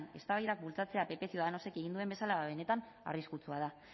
eztabaidak bultzatzea pp ciudadanosek egin duen bezala ba benetan arriskutsua da